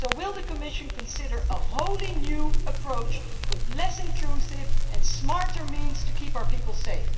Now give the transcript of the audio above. So, will the Commission consider a wholly new approach with less intrusive and smarter means to keep our people safe?